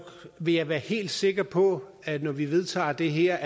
vil jeg være helt sikker på at vi når vi vedtager det her